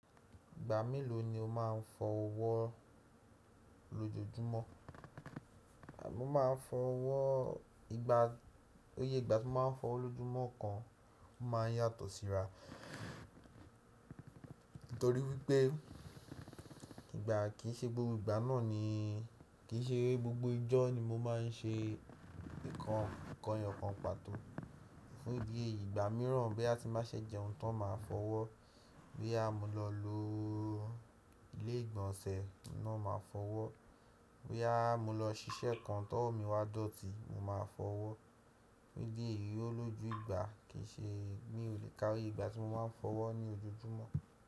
Ìgbà mélòó ni o máa ń fọ ọwọ́ lójoójúmọ́? Mo ma ń fọ ọwọ́ ìgbà, ó yé ìgbà tí mo ma ń fọwọ́ lójúmọ́ kan máa ń yàtọ̀ síra. Nítorí wípé ìgbà kì í ṣe gbogbo ìgbà náà ni, kì í ṣe gbogbo ọjọ́ ni mo máa ń ṣe nǹkan kan pàtó. Fún ìdí èyí ìgbà mìíràn bí a ti bá ṣè jẹ ohun tan ma fọwọ́, bobus mo lọ lo ilé ìgbọ̀nsẹ̀ máà fọwọ́, boya mo lọ ṣiṣẹ́ kan tọ́wò mi wá dọ̀tí mo ma fọwọ́. Fún ìdí èyí ó lójú ìgbà kì í ṣe mi ò lè kárí ìgbà tí mo ma ń fọwọ́ ní ojoojúmọ́.